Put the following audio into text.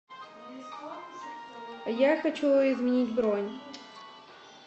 я хочу изменить бронь